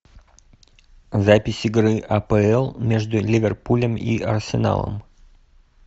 запись игры апл между ливерпулем и арсеналом